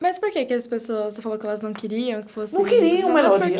Mas por que que as pessoas, você falou que elas não queriam que fosse... Não queriam.